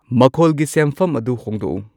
ꯃꯈꯣꯜꯒꯤ ꯁꯦꯝꯐꯝ ꯑꯗꯨ ꯍꯣꯡꯗꯣꯛꯎ